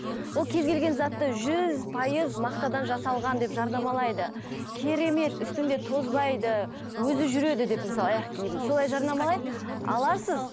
ол кез келген затты жүз пайыз мақтадан жасалған деп жарнамалайды керемет үстімде тозбайды өзі жүреді деп мысалы аяқ қиімді солай жарнамалайды аласыз